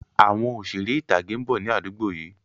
Àwọn Òṣeré ìtàgé ń bọ̀ ni àdúgbò yìí